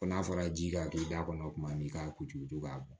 Ko n'a fɔra ji ka to i da kɔnɔ tuma min i k'a kuturu to k'a bɔn